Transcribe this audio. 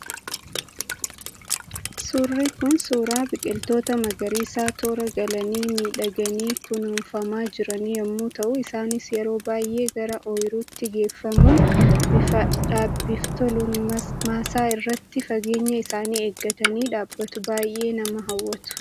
Suurri kun, suuraa biqiltoota magariisaa toora galanii miidhaganii kunuunfamaa jiranii yemmuu ta'u, isaanis yeroon booddee gara ooyiruutti geeffamuun bifa dhaabbiif toluun maasaa irratti, fageenya isaanii eeggatanii dhaabbatu. Baayyee nama hawwatu.